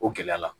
O gɛlɛya la